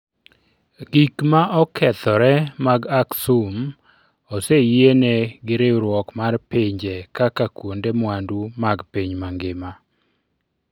Gik ma okethore mag Aksum oseyiene gi Riwruok mar Pinje kaka kuonde mwandu mag piny mangima.